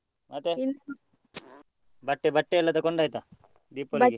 ಬಟ್ಟೆ ಬಟ್ಟೆಯೆಲ್ಲ ತಗೊಂಡ್ ಆಯ್ತಾ ?